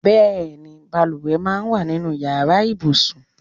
Bẹẹni, bàlùwẹ̀ máa ń wà nínú Ìyàrá ibùsùn.